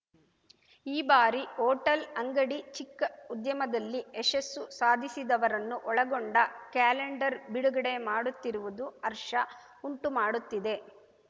ಈ ಬಾರಿ ಹೋಟೆಲ್‌ ಅಂಗಡಿ ಚಿಕ್ಕ ಉದ್ಯಮದಲ್ಲಿ ಯಶಸ್ಸು ಸಾಧಿಸಿದವರನ್ನು ಒಳಗೊಂಡ ಕ್ಯಾಲೆಂಡರ್‌ ಬಿಡುಗಡೆ ಮಾಡುತ್ತಿರುವುದು ಹರ್ಷ ಉಂಟು ಮಾಡುತ್ತಿದೆ